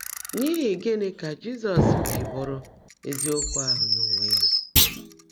N’íhí gị́ní kà Jị́zọ́s jị́ bụ́rụ́ ézíokwú áhụ́ n’óńwé yá?